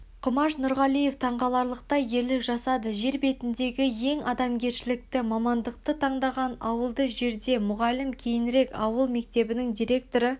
құмаш нұрғалиев таңқаларлықтай ерлік жасады жер бетіндегі ең адамгершілікті мамандықты таңдады ауылды жерде мұғалім кейінірек ауыл мектебінің директоры